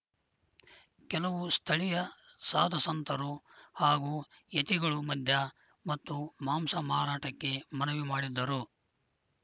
ಕೆಲವು ಸ್ಥಳೀಯ ಸಾಧುಸಂತರು ಹಾಗೂ ಯತಿಗಳು ಮದ್ಯ ಮತ್ತು ಮಾಂಸ ಮಾರಾಟಕ್ಕೆ ಮನವಿ ಮಾಡಿದ್ದರು